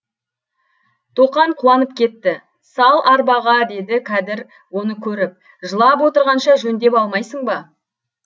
тоқан қуанып кетті сал арбаға деді кәдір оны көріп жылап отырғанша жөндеп алмайсың ба